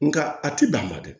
Nka a ti dan ma dɛ